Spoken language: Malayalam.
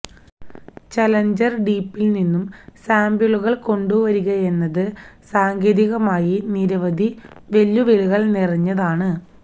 ചലഞ്ചർ ഡീപ്പിൽ നിന്നും സാംപിളുകൾ കൊണ്ടുവരികയെന്നത് സാങ്കേതികമായി നിരവധി വെല്ലുവിളികൾ നിറഞ്ഞതാണ്